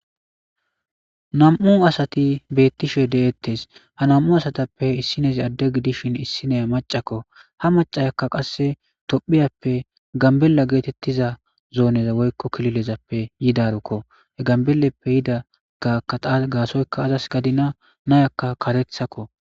Nam'u asati beettishe deettes ha nam7u asatappe issinezi adde gidishin issineya macakko ha macayakka qasse tophiyappe gambella geetettiza zooneza woykko kililezappe yidarkko he gambeleppe yidagakaa gaasoyka azas gadina nayakka karethakko.